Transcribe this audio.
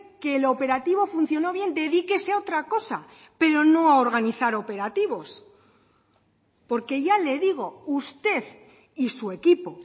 que el operativo funcionó bien dedíquese a otra cosa pero no a organizar operativos porque ya le digo usted y su equipo